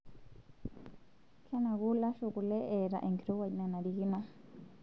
Kenaku lashoo kule eata enkirowuaj nanarikino.